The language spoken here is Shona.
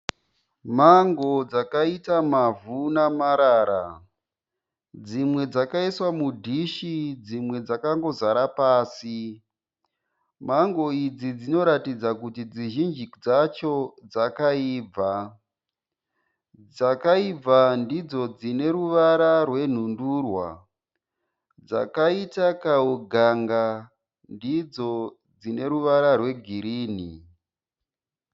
Mango dzakaita mavhu namarara, dzimwe dzakaiswa mudhishi dzimwe dzakangozara pasi, mango idzi dzinoratidza kuti dzizhinji dzacho dzakaibva, dzakaibva ndidzo dzine ruvara rwenhundurwa dzakaita kauganga ndidzo dzine ruvara rwegirini.